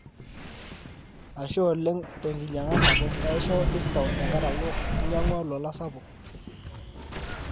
ashe oleng tenkinyaga sapuk, kaishoo discount tenkaraki inyagua olola sapuk